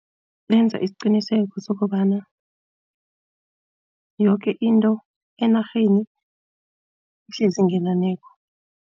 Benza isiqiniseko sokobana yoke into enarheni ihlezi ngenaneko.